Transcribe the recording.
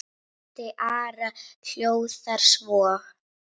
Texti Ara hljóðar svo